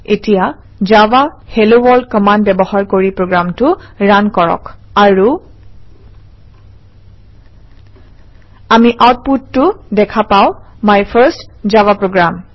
এতিয়া Java hello world command ব্যৱহাৰ কৰি প্ৰগ্ৰামটো ৰান কৰক আৰু আমি আউটপুটটো দেখা পাওঁ - মাই ফাৰ্ষ্ট জাভা program